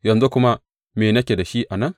Yanzu kuma me nake da shi a nan?